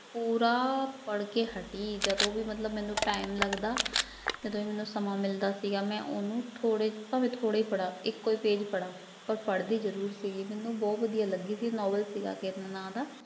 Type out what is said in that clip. ਪੂਰਾ ਪੜ੍ਹਕੇ ਹਟੀ ਜਦੋਂ ਵੀ ਮਤਲਬ ਮੈਨੂੰ time ਲੱਗਦਾ, ਜਦੋਂ ਵੀ ਮੈਨੂੰ ਸਮਾਂ ਮਿਲਦਾ ਸੀਗਾ ਮੈਂ ਉਹਨੂੰ ਥੋੜ੍ਹੇ ਭਾਵੇਂ ਥੋੜ੍ਹੇ ਪੜ੍ਹਾਂ ਇੱਕੋ ਹੀ page ਪੜ੍ਹਾਂ ਪਰ ਪੜ੍ਹਦੀ ਜ਼ਰੂਰ ਸੀਗੀ ਮੈਨੂੰ ਬਹੁ ਵਧੀਆ ਲੱਗੀ ਸੀ ਨੋਬਲ ਸੀਗਾ ਕਿਰਨ ਨਾਂ ਦਾ।